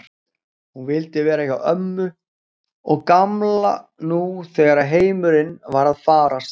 Hún vildi vera hjá ömmu og Gamla nú þegar heimurinn var að farast.